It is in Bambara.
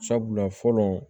Sabula fɔlɔ